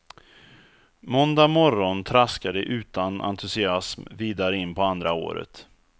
Måndag morgon traskar de utan entusiasm vidare in på andra året.